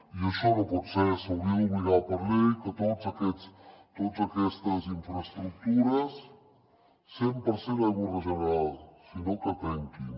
i això no pot ser s’hauria d’obligar per llei que totes aquestes infraestructures cent per cent aigua regenerada si no que tanquin